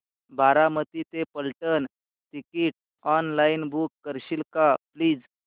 बारामती ते Phaltan ticket online book करशील का प्लीज